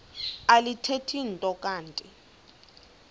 alithethi nto kanti